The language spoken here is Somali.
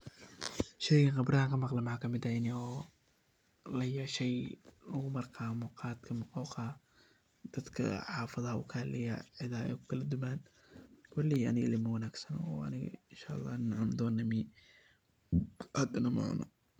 Sheygaan khibradaha ka maqle waxaa ka mid ah ini oo layeshay oo lagu barto khadka ama muqoqa dadaka xafadaha uu kahaleyaa cidaha ay kukala duman koley aniga maila wanagsano oo aniga Inshaa Allah nin cuni donaa , maihi hadana ma cuno.